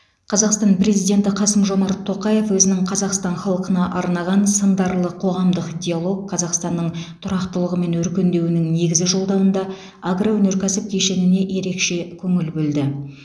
қазақстан президенті қасым жомарт тоқаев өзінің қазақстан халқына арнаған сындарлы қоғамдық диалог қазақстанның тұрақтылығы мен өркендеуінің негізі жолдауында агроөнеркәсіп кешеніне ерекше көңіл бөлді